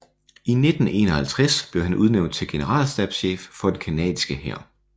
I 1951 blev han udnævnt til generalstabschef for den canadiske hær